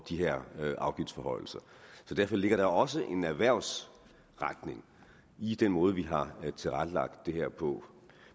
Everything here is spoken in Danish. de her afgiftsforhøjelser så derfor ligger der også en erhvervsretning i den måde vi har tilrettelagt det her på